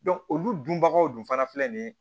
olu dunbagaw dun fana filɛ nin ye